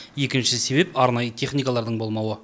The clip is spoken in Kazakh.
екінші себеп арнайы техникалардың болмауы